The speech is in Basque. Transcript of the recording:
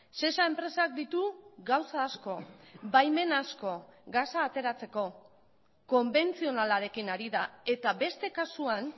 sesa enpresak ditu gauza asko baimen asko gasa ateratzeko konbentzionalarekin ari da eta beste kasuan